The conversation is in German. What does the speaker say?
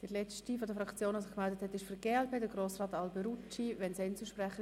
Der letzte Fraktionssprecher ist Grossrat Alberucci für die glp-Fraktion.